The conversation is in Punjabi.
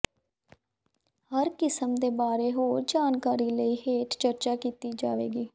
ਹਰ ਕਿਸਮ ਦੇ ਬਾਰੇ ਹੋਰ ਜਾਣਕਾਰੀ ਲਈ ਹੇਠ ਚਰਚਾ ਕੀਤੀ ਜਾਵੇਗੀ